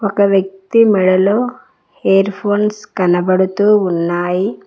ఒక వ్యక్తి మెడలో ఇయర్ ఫోన్స్ కనబడుతూ ఉన్నాయి.